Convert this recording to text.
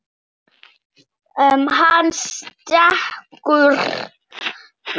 Hann stundi: Linja, litla Linja.